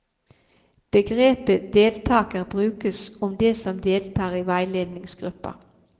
Begrepet deltaker brukes om de som deltar i veiledningsgruppa.